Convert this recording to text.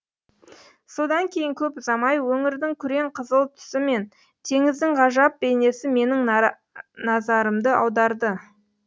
содан кейін көп ұзамай өңірдің күрең қызыл түсі мен теңіздің ғажап бейнесі менің назарымды аударды